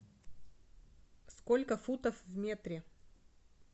сколько футов в метре